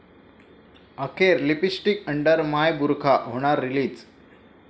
अखेर 'lipstick under my burkha' होणार release